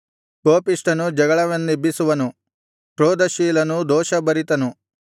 ಕೋಪಿಷ್ಠನು ಜಗಳವನ್ನೆಬ್ಬಿಸುವನು ಕ್ರೋಧಶೀಲನು ದೋಷಭರಿತನು